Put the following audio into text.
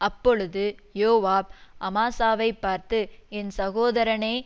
அப்பொழுது யோவாப் அமாசாவைப் பார்த்து என் சகோதரனே